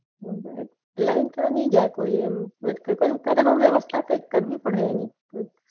હમ લય તો ની જાય પણ હા વ્યવસ્થા કૈક કરવી પડે એની